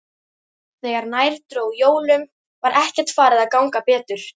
Þegar nær dró jólum var ekkert farið að ganga betur.